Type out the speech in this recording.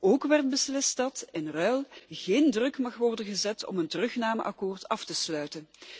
Ook werd beslist dat in ruil geen druk mag worden gezet om een terugnameakkoord af te sluiten.